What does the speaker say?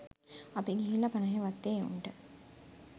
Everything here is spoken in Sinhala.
අපි ගිහිල්ල පනහේ වත්තේ එවුන්ට